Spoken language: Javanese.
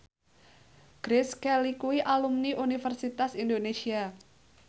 Grace Kelly kuwi alumni Universitas Indonesia